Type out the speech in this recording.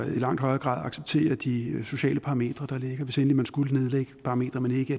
i langt højere grad acceptere de sociale parametre der ligger hvis endelig man skulle nedlægge parametre men ikke